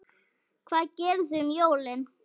Hvað gerið þið um jólin?